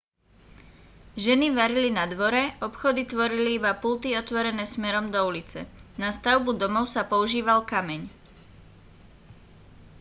ženy varili na dvore obchody tvorili iba pulty otvorené smerom do ulice na stavbu domov sa používal kameň